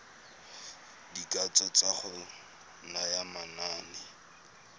dikatso tsa go naya manane